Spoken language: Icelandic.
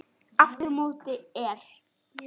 Aftur á móti er